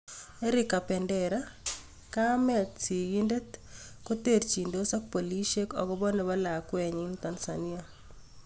Eric kabendera: Kamet sigindet koterchindos ak polisiek akopo nepo lakwenyin Tanzania